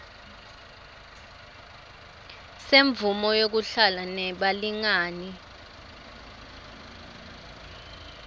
semvumo yekuhlala nebalingani